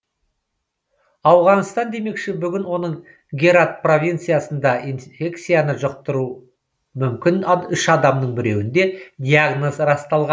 ауғанстан демекші бүгін оның герат провинциясында инфекцияны жұқтыруы мүмкін үш адамның біреуінде диагноз расталған